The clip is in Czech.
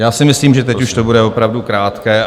Já si myslím, že teď už to bude opravdu krátké.